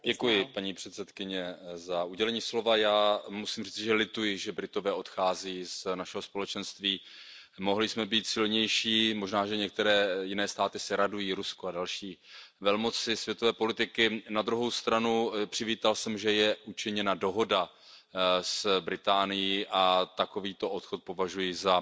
Paní předsedající, já musím říci, že lituji, že Britové odcházejí z našeho společenství. Mohli jsme být silnější, možná, že některé jiné státy se radují Rusko a další velmoci světové politiky. Na druhou stranu, přivítal jsem, že je učiněna dohoda s Británií a takovýto odchod považuji za